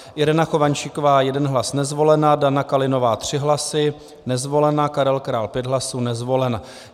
Irena Chovančíková 1 hlas - nezvolena, Dana Kalinová 3 hlasy - nezvolena, Karel Král 5 hlasů - nezvolen.